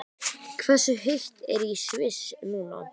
Hversu heitt er í Sviss núna?